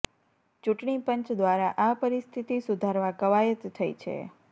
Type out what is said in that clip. ચૂંટણી પંચ દ્વારા આ પરિસ્થિતિ સુધારવા કવાયત થઈ છે